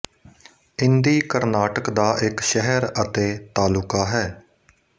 ਇੰਦੀ ਕਰਨਾਟਕ ਦਾ ਇੱਕ ਸ਼ਹਿਰ ਅਤੇ ਤਾਲੁਕਾ ਹੈ